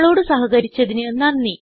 ഞങ്ങളോട് സഹകരിച്ചതിന് നന്ദി